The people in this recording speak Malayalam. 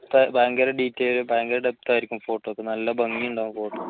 ഭയങ്കര detail ലും ഭയങ്കര depth ആയിരിക്കും photo യ്ക്ക് നല്ല ഭംഗി ഉണ്ടാവും photo